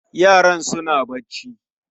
Yaran suna bacci